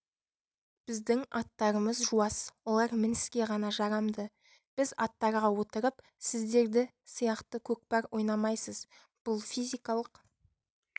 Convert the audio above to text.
біздің аттарымыз жуас олар мініске ғана жарамды біз аттарға отырып сіздерді сияқты көкпар ойнамайсыз бұл физикалық